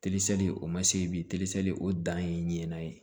o ma se bi o dan ye ɲinɛna ye